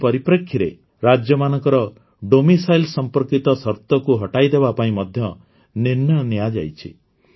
ଏହି ପରିପ୍ରେକ୍ଷୀରେ ରାଜ୍ୟମାନଙ୍କର ଡୋମିସାଇଲ୍ ସମ୍ପର୍କିତ ସର୍ତକୁ ହଟାଇଦେବା ପାଇଁ ମଧ୍ୟ ନିର୍ଣ୍ଣୟ ନିଆଯାଇଛି